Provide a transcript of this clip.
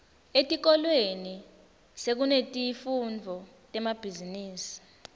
etikolweni sekunetifundvo temabhizimisi